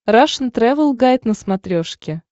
рашн тревел гайд на смотрешке